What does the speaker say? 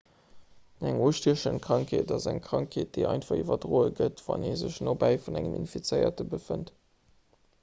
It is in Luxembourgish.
eng ustiechend krankheet ass eng krankheet déi einfach iwwerdroe gëtt wann ee sech nobäi vun engem infizéierte befënnt